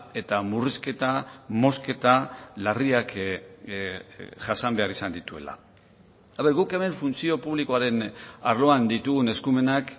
eta murrizketa mozketa larriak jasan behar izan dituela guk hemen funtzio publikoaren arloan ditugun eskumenak